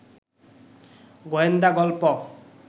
গোয়েন্দা গল্প